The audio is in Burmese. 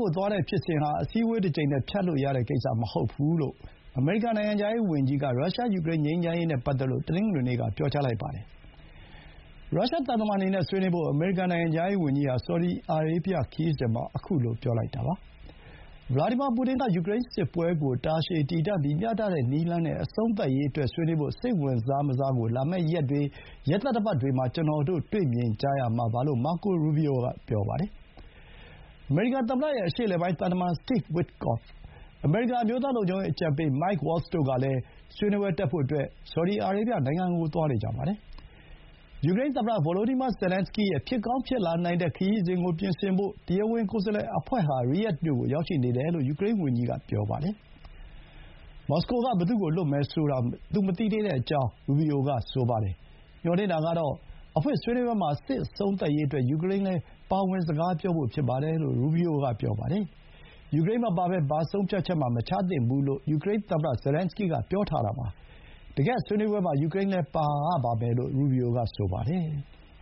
ကို သွားတဲ့ဖြစ်စဥ်ဟာ အစည်းအဝေးတကြိမ်နဲ့ ဖြတ်လို့ရတဲ့ကိစ္စ မဟုတ်ပါဘူးလို့ အမေရိကန် နိုင်ငံခြားရေးဝန်ကြီးက ရုရှား ယူကရိန်း ငြိမ်းချမ်းရေးနဲ့ ပတ်သက်လို့ တနင်္ဂနွေနေ့က ပြောကြားလိုက်ပါတယ်။ ရုရှားသံတမန်တွေနဲ့ ဆွေးနွေးဖို့ အမေရိကန် နိုင်ငံခြားရေးဝန်ကြီးဟာ ဆော်ဒီအာရေဗျခရီးစဥ်မှာ ခုလို ပြောလိုက်တာပါ။ ဗလာဒီမာ ပူတင်က ယူကရိန်းစစ်ပွဲကို တာရှည်တည်တံ့ပြီး မျှတတဲ့ နည်းလမ်းနဲ့ အဆုံးသတ်ရေးအတွက် ဆွေးနွေးဖို့ စိတ်ဝင်စား မစားကို လာမယ့်ရက်တွေ ရက်သတ္တပတ်တွေမှာ ကျနော်တို့ တွေ့မြင်ကြရမှာပါလို့ မာကို ရူဘီအိုက ပြောပါတယ်။ အမေရိကန်သမ္မတရဲ့ အရှေ့အလယ်ပိုင်း သံတမန် Steve Witkoff နဲ့ အမေရိကန် အမျိုးသား လုံခြုံရေး အကြံပေး Mike Waltz တို့ကလည်း ဆွေးနွေးပွဲတက်ဖို့ ဆော်ဒီအာရေးဗျနိုင်ငံကို သွားနေကြပါတယ်။ ယူကရိန်းသမ္မတ ဗိုလိုဒီမာ ဇယ်လန်စကီးရဲ့ ဖြစ်ကောင်း ဖြစ်လာနိုင်တဲ့ ခရီးစဥ်ကို ပြင်ဆင်ဖို့ တရားဝင်ကိုယ်စားလှယ်အဖွဲ့ဟာ ရီးယာ့ဒ်မြို့ကို ရောက်ရှိနေတယ်လို့ ယူကရိန်းဝန်ကြီးကလည်း ပြောပါတယ်။ မော်စကိုက ဘယ်သူ့ကို လွှတ်မယ်ဆိုတာ သူမသိသေးဘူးလို့ ရူဘီအိုက ပြောပါတယ်။ မျှော်လင့်တာကတော့ အဖွင့်ဆွေးနွေးပွဲမှာ စစ်အဆုံးသတ်ရေးအတွက် ယူကရိန်းလည်း ပါဝင်စကားပြောဖို့ ဖြစ်ပါတယ်လို့ ရူဘီအိုက ဆိုပါတယ်။ ယူကရိန်းမပါဘဲ ဘာဆုံးဖြတ်ချက်မှ မချသင့်ဘူးလို့ ယူကရိန်းသမ္မတ ဇယ်လန်စကီးက ပြောထားတာပါ။ တကယ့်ဆွေးနွေးပွဲမှာ ယူကရိန်းလည်း ပါရပါမယ်လို့ ရူဘီအိုက ပြောပါတယ်။